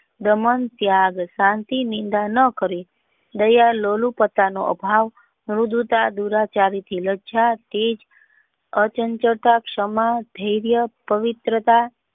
મન ત્યાગ શાંતિ નિંદા ન કરવી અભાવ અબધૂત દુરાચારી થી લજ્જા તેજ અચંચળતા ધૈર્ય પવિત્રતા.